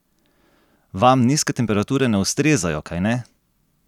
Vam nizke temperature ne ustrezajo, kajne?